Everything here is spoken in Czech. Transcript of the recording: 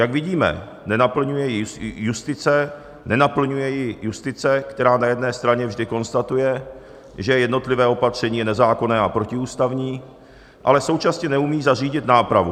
Jak vidíme, nenaplňuje ji justice, která na jedné straně vždy konstatuje, že jednotlivé opatření je nezákonné a protiústavní, ale současně neumí zařídit nápravu.